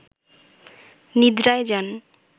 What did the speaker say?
নিদ্রায় যান